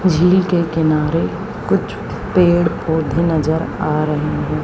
झील के किनारे कुछ पेड़ पौधे नजर आ रहें हैं।